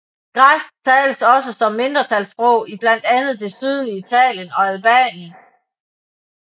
Græsk tales også som mindretalssprog i blandt andet det sydlige Italien og Albanien